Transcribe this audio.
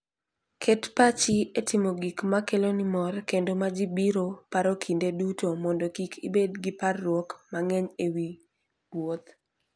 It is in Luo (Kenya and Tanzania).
Ket pachi e timo gik ma keloni mor kendo ma ji biro paro kinde duto mondo kik ibed gi parruok mang'eny e wi wuoth.